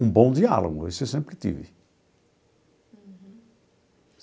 Um bom diálogo, isso eu sempre tive.